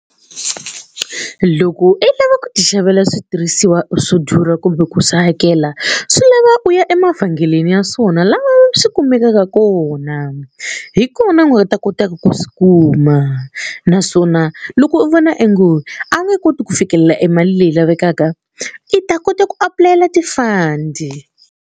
Loko i lava ku ti xavela switirhisiwa swo durha kumbe ku swi hakela swi lava u ya emavhengeleni ya swona laha swi kumekaka kona hi kona u nga ta kotaka ku swi kuma naswona loko u vona e ngo a wu nge koti ku fikelela emali leyi lavekaka i ta kota ku apulayela ti-fund.